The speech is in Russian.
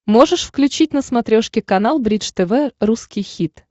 можешь включить на смотрешке канал бридж тв русский хит